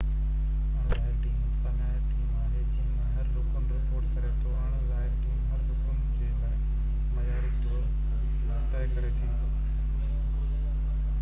اڻ ظاهر ٽيم انتظاميہ ٽيم آهي جنهن ۾ هر رڪن رپورٽ ڪري ٿو اڻ ظاهر ٽيم هر رڪن جي لاءِ معيار طئي ڪري ٿو